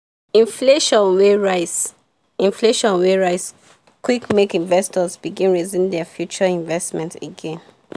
inflation wey rise inflation wey rise quick make investors begin reason their future investment again.